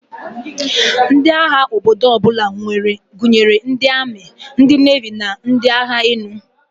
Ndi agha obodo ọbụla gụnyere ndi ami, ndi nevi na ndi agha elu.